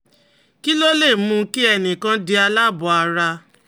Kí ló lè mú kí ẹnì kan di aláàbọ̀ ara?